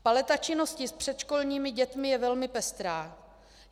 Paleta činnosti s předškolními dětmi je velmi pestrá.